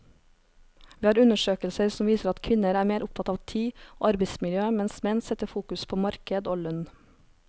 Vi har undersøkelser som viser at kvinner er mer opptatt av tid og arbeidsmiljø, mens menn setter fokus på marked og lønn.